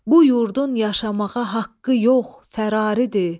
Bu yurdun yaşamağa haqqı yox, fəraridir.